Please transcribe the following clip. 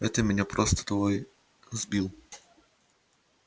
это меня просто твой сбил